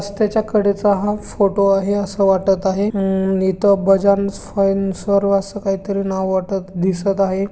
त्याच्या कडे चा हा फोटो आहे अस वाटत आहे अं आणि इथे बजाज फंस फायन्स अस काही तरी नाव वाटत दिसत आहे.